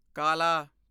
ਕਾਲਾ